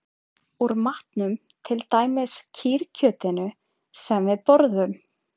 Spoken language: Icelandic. Úr matnum, til dæmis kýrkjötinu sem við borðum